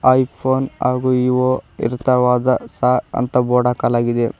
IPhone ಹಾಗೂ Vivo ಇರ್ತಾವ ಸಹ ಎಂದು ಬೋರ್ಡ್ ಹಾಕಲಾಗಿದೆ.